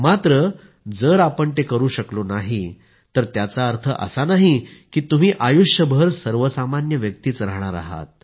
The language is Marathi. मात्र जर आपण ते करु शकलो नाही तर त्याचा अर्थ असा नाही की तुम्ही आयुष्यभर सर्वसामान्य व्यक्तीच राहणार आहात